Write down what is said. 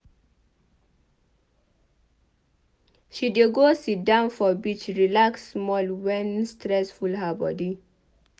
She dey go sidon for beach relax small wen stress full her bodi.